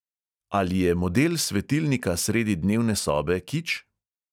Ali je model svetilnika sredi dnevne sobe kič?